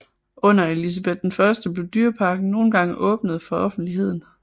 Under Elizabeth I blev dyreparken nogle gange åbnet for offentligheden